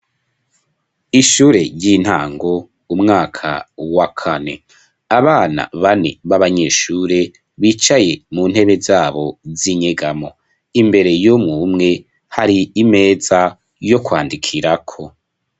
Ishure ry'intango umwaka wa kane, abana bane b'abanyeshure bicaye muntebe zabo z'inyegamwo, imbere y'umwumwe, har'imeza yo kwandikirako.